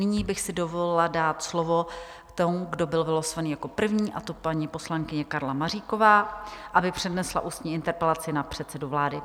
Nyní bych si dovolila dát slovo tomu, kdo byl vylosovaný jako první, a to paní poslankyni Karle Maříkové, aby přednesla ústní interpelaci na předsedu vlády.